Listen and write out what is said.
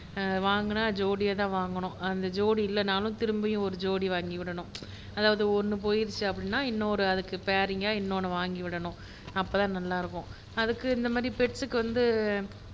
வாங்குனா ஜோடியா தான் வாங்கணும் அந்த ஜோடி இல்லன்னாலும் திரும்பையும் ஒரு ஜோடி வாங்கி விடனும் அதாவது ஒண்ணு போயிருச்சுன்னா அதுக்கு பேரிங்காஇன்னொன்னு வாங்கி விடனும் அப்போ தான் நல்லா இருக்கும் அதுக்கு இந்த மாதிரி பெட் க்கு வந்து